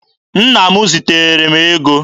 Nna m ziteere m ego.